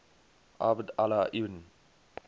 abd allah ibn